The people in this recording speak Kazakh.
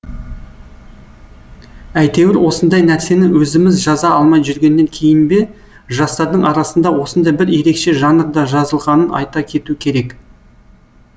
әйтеуір осындай нәрсені өзіміз жаза алмай жүргеннен кейін бе жастардың арасында осындай бір ерекше жанрда жазылғанын айта кету керек